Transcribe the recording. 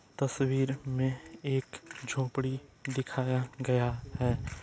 तस्वीर मे एक झोपड़ी दिखाया गया है।